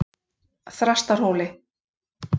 Þrastarhóli